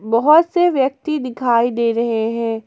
बहुत से व्यक्ति दिखाई दे रहे हैं।